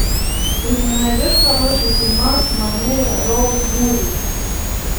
ты мне найдешь хороший фильмас в манере роуд муви